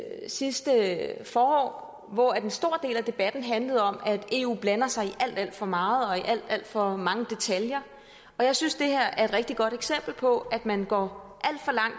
sidste forår hvor en stor del af debatten handlede om at eu blander sig i alt alt for meget og i alt alt for mange detaljer jeg synes det her er et rigtig godt eksempel på at man går